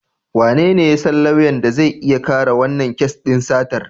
Wanene ya san lauyan da zai iya kare wannan kes din satar?